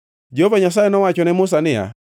Jehova Nyasaye nowacho ne Musa niya,